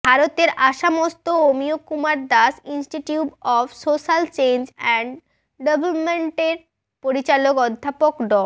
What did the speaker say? ভারতের আসামস্থ Amiya Kumar Das institute of social change and ডেভেলপমেন্টের পরিচালক অধ্যাপক ড